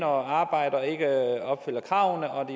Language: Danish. og arbejder og ikke opfylder kravene og